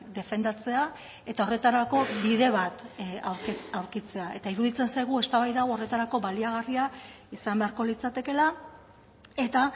defendatzea eta horretarako bide bat aurkitzea eta iruditzen zaigu eztabaida hau horretarako baliagarria izan beharko litzatekeela eta